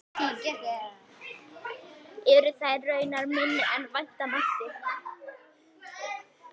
Eru þær raunar minni en vænta mátti.